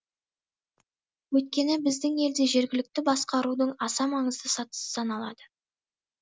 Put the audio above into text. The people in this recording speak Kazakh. өйткені біздің елде жергілікті басқарудың аса маңызды сатысы саналады